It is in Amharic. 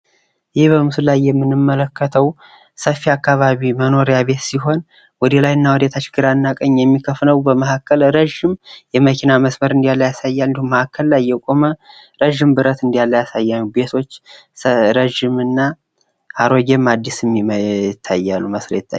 ቤት ከግድግዳና ጣሪያ የዘለለ ትርጉም ያለው ስሜታዊ ትስስር ሲሆን፣ መኖሪያ ቤት በቀላሉ የመኖርያ አድራሻን ያመለክታል። አንዱ የባለቤቶቹን ማንነት የሚያንፀባርቅ ሲሆን፣ ሌላው አስፈላጊውን ተግባር ያከናውናል።